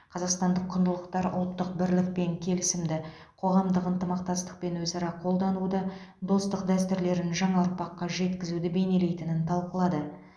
қазақстандық құндылықтар ұлттық бірлік пен келісімді қоғамдық ынтымақтастық пен өзара қолдануды достық дәстүрлерін жаңа ұрпаққа жеткізуді бейнелейтінін талқылады